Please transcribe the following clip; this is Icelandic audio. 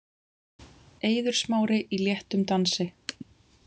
Eiður Smári í léttum dansi.